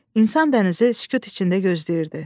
İnsan dənizi sükut içində gözləyirdi.